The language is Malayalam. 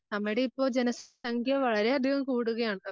നമ്മുടെയിപ്പം ജനസംഖ്യ വളരെയധികം കൂടുകയാണല്ലോ